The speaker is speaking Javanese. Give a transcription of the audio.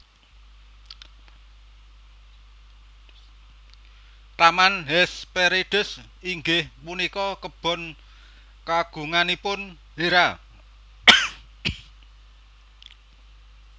Taman Hesperides inggih punika kebon kagunganipun Hera